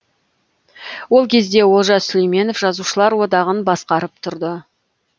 ол кезде олжас сүлейменов жазушылар одағын басқарып тұрды